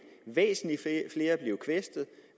væsentlig flere blive kvæstede